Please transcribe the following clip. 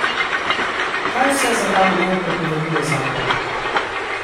Kaj vse za ta namen prepoveduje zakon?